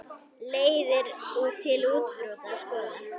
Leiðir til úrbóta skoðar.